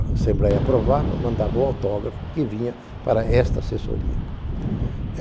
A Assembleia aprovava, mandava o autógrafo que vinha para esta assessoria.